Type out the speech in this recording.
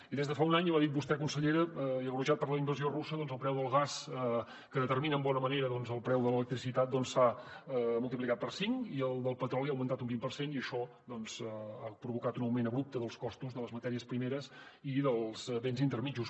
i des de fa un any i ho ha dit vostè consellera i agreujat per la invasió russa doncs el preu del gas que determina en bona manera el preu de l’electricitat s’ha multiplicat per cinc i el del petroli ha augmentat un vint per cent i això doncs ha provocat un augment abrupte dels costos de les matèries primeres i dels béns intermedis